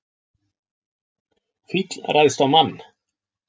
Fíll ræðst á mann